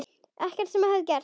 Ekkert sem hafði gerst.